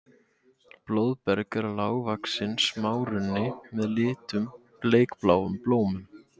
Blóðberg er lágvaxinn smárunni með litlum bleikbláum blómum.